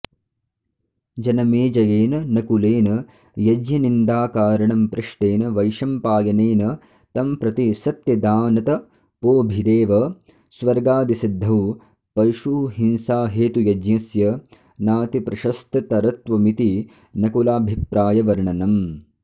जनमेजयेन नकुलेन यज्ञनिन्दाकारणं पृष्टेन वैशम्पायनेन तंप्रति सत्यदानतपोभिरेव स्वर्गादिसिद्धौ पशुहिंसाहेतुयज्ञस्य नातिप्रशस्ततरत्वमिति नकुलाभिप्रायवर्णनम्